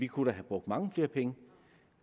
kunne have brugt mange flere penge